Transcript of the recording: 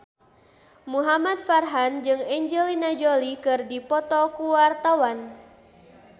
Muhamad Farhan jeung Angelina Jolie keur dipoto ku wartawan